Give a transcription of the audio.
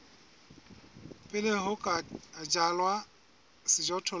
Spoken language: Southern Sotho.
pele ho ka jalwa sejothollo